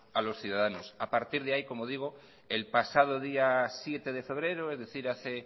a los ciudadanos a partir de ahí el pasado día siete de febrero es decir hace